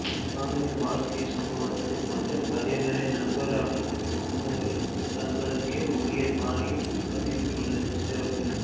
காந்தியின் வாழ்க்கை சம்பவத்தைக் கொண்டு பகைவரை நண்பராக்கும் வழியை தங்களுக்கே உரிய பாணியில் பதிவிட்டுள்ளது சிறப்பு